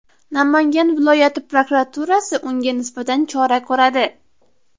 Namangan viloyati prokuraturasi unga nisbatan chora ko‘radi.